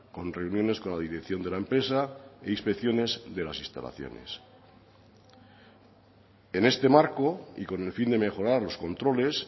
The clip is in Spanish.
con reuniones con la dirección de la empresa e inspecciones de las instalaciones en este marco y con el fin de mejorar los controles